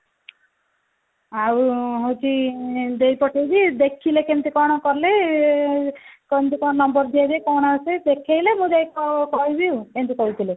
ଆଉ ହଉଛି ଆଁ ଦେଇ ପଠେଇବି ଦେଖିଲେ କେମିତି କଣ କଲେ ଆଁ କଣ ତ କଣ number ଦିଆଯାଏ କଣ ଅଛି ଦେଖେଇଲେ ମୁଁ ଯାଇ କହିବି ଆଉ ଏଇନ୍ତି କହୁଥିଲେ